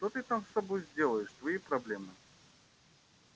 что ты там с собой сделаешь твои проблемы